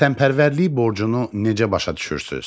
Vətənpərvərlik borcunu necə başa düşürsünüz?